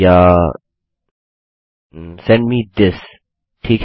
याSend मे थिस ठीक है